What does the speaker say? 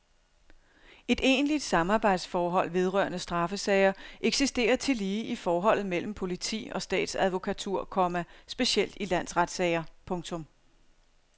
Et egentligt samarbejdsforhold vedrørende straffesager eksisterer tillige i forholdet mellem politi og statsadvokatur, komma specielt i landsretssager. punktum